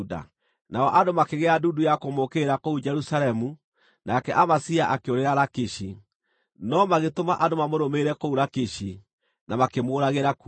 Nao andũ makĩgĩa ndundu ya kũmũũkĩrĩra kũu Jerusalemu, nake Amazia akĩũrĩra Lakishi, no magĩtũma andũ mamũrũmĩrĩre kũu Lakishi, na makĩmũũragĩra kuo.